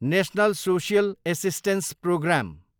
national social assistance programme